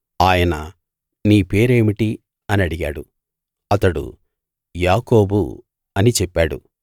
ఆయన నీ పేరేమిటి అని అడిగాడు అతడు యాకోబు అని చెప్పాడు